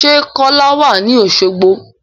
Sẹ́ Kọ́lá wà ní Oṣogbo?